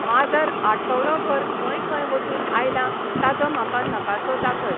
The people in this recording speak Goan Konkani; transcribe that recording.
माजर आठवडोभर खंय खंय वचून आयलां ताजो म्हाका नकासो दाखय